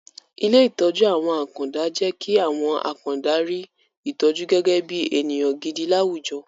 Ilé ìtọ́jú àwọn àkàndá jẹ́ kí àwọn àkàndá rí ìtọ́jú gẹ́gẹ́ bí ènìyàn gidi láwùjọ